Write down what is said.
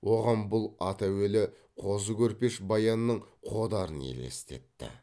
оған бұл ат әуелі қозы көрпеш баянның қодарын елестетті